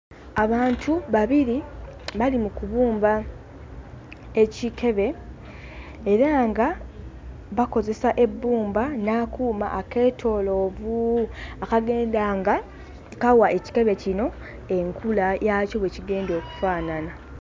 Abantu babiri bali mu kubumba ekikebe era nga bakozesa ebbumba n'akuuma akeetooloovu akagenda nga kawa ekikebe kino enkula yaakyo bwe kigenda okufaanana.